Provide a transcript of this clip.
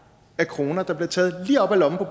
af kroner der bliver taget lige op af lommerne